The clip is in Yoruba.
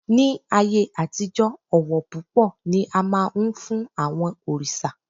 Ní ayé àtijọ́, ọ̀wọ̀ púpọ̀ ni a máa ń fún àwọn òrìṣà